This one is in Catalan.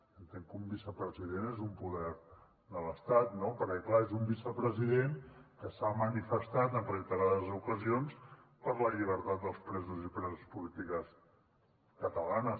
entenc que un vicepresident és un poder de l’estat no perquè clar és un vicepresident que s’ha manifestat en reiterades ocasions per la llibertat dels presos i preses polítiques catalanes